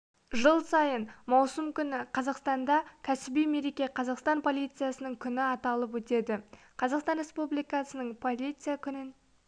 жыл сайын маусым күні қазақстанда кәсіби мереке қазақстан полициясының күні аталып өтеді қазақстан республикасының полиция күнін